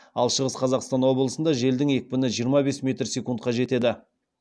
ал шығыс қазақстан облысында желдің екпіні жиырма бес метр секундқа жетеді